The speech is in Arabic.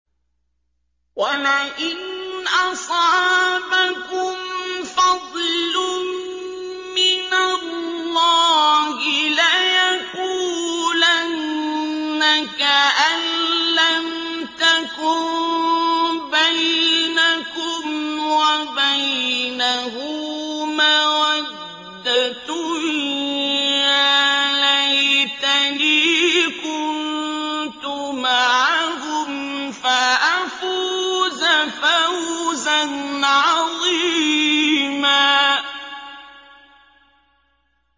وَلَئِنْ أَصَابَكُمْ فَضْلٌ مِّنَ اللَّهِ لَيَقُولَنَّ كَأَن لَّمْ تَكُن بَيْنَكُمْ وَبَيْنَهُ مَوَدَّةٌ يَا لَيْتَنِي كُنتُ مَعَهُمْ فَأَفُوزَ فَوْزًا عَظِيمًا